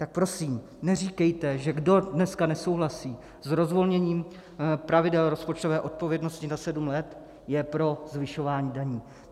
Tak prosím neříkejte, že kdo dneska nesouhlasí s rozvolněním pravidel rozpočtové odpovědnosti na sedm let, je pro zvyšování daní.